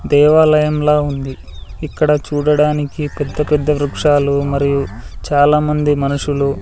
దేవాలయంలా ఉంది ఇక్కడ చూడడానికి పెద్ద పెద్ద వృక్షాలు మరియు చాలామంది మనుషులు --